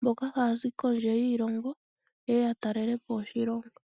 mboka haya zi kondje yiilongo yeye ya talelepo oshilongo.